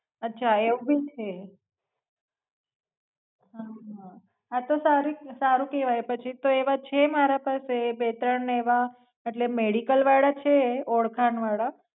અચ્છા એવું ભી છે હમ હા તો સારુ કેવાય એ પછી તો એવા છે મારા પાસે બે ત્રણ એવા એટલે મેડીકલ વાળા છે ઓળખાણ વાળા